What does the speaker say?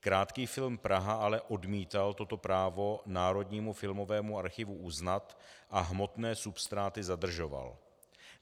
Krátký film Praha ale odmítal toto právo Národnímu filmovému archivu uznat a hmotné substráty zadržoval.